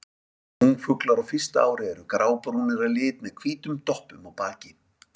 Ungfuglar á fyrsta ári eru grábrúnir að lit með hvítum doppum á baki.